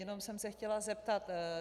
Jenom jsem se chtěla zeptat.